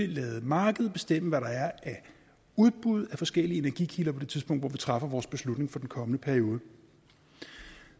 lade markedet bestemme hvad der er af udbud af forskellige energikilder på det tidspunkt hvor vi træffer vores beslutning for den kommende periode